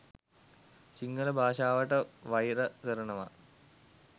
සිංහල භාෂාවට වයිර කරනවා.